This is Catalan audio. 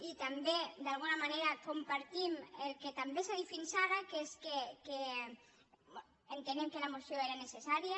i també d’alguna manera compartim el que també s’ha dit fins ara que és que entenem que la moció era necessària